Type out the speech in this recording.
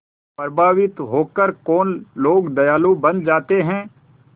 प्रभावित होकर कौन लोग दयालु बन जाते हैं